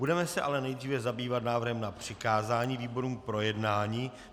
Budeme se ale nejdříve zabývat návrhem na přikázání výborům k projednání.